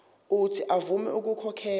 uuthi avume ukukhokhela